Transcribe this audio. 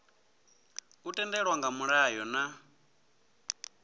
u tendelwa nga mulayo na